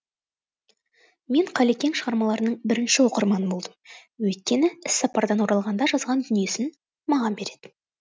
мен қалекең шығармаларының бірінші оқырманы болдым өйткені іссапардан оралғанда жазған дүниесін маған беретін